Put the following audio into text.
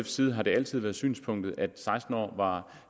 side har det altid været synspunktet at seksten år var